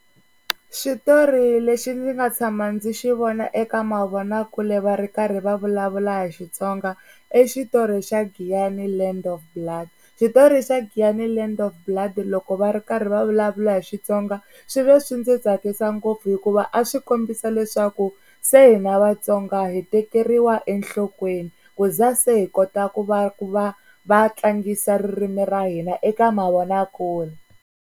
Xitori lexi ndzi nga tshama ndzi xi vona eka mavonakule va ri karhi va vulavula hi Xitsonga i xitori xa Giyani Land of Blood. Xitori xa Giyani Land of Blood loko va ri karhi va vulavula hi Xitsonga swi ve swi ndzi tsakisa ngopfu, hikuva a swi kombisa leswaku se hina Vatsonga hi tekeriwa enhlokweni ku za se hi kota ku va ku va va tlangisa ririmi ra hina eka mavonakule.